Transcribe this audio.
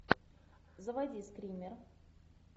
заводи скример